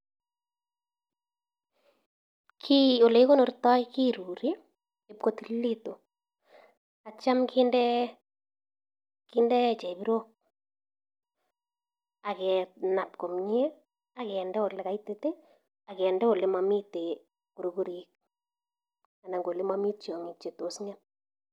Olekikonortai kerurii ipkokararanitu akinee chebirok Akinde olemamii beeek